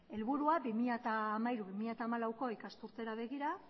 helburua bi mila hamairu bi mila hamalauko ikasturtera begira